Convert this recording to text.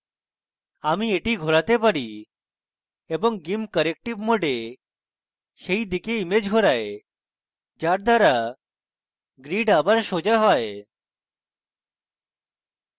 আমি এটি ঘোরাতে পারি এবং gimp corrective mode সেই দিকে image ঘোরায় যার দ্বারা grid আবার সোজা হয়